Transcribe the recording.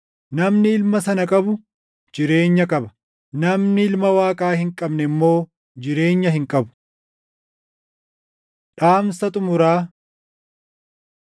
Namni Ilma sana qabu jireenya qaba; namni Ilma Waaqaa hin qabne immoo jireenya hin qabu. Dhaamsa Xumuraa